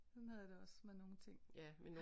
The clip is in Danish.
Sådan havde jeg det også med nogle ting